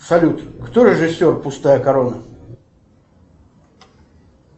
салют кто режиссер пустая корона